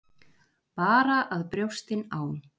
Bara að brjóstin á